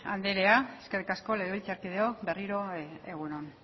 andrea eskerrik asko legebiltzarkideok berriro egun on